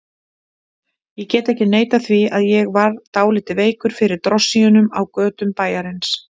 Ég get ekki neitað því að ég var dálítið veikur fyrir drossíunum á götum bæjarins.